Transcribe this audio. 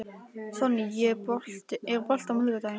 Sonný, er bolti á miðvikudaginn?